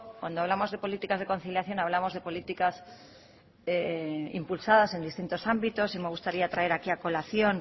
cuando hablamos de políticas de conciliación hablamos de políticas impulsadas en distintos ámbitos y me gustaría traer aquí a colación